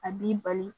A b'i bali